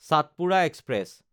চটপুৰা express